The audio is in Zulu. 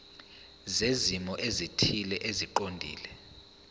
zezimo ezithile eziqondene